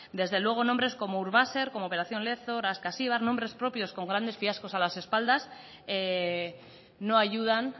desde luego nombres como urbaser operación lezo ascasibar nombres propios con grandes fiascos a las espaldas no ayudan